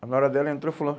Na hora dela entrou fulano.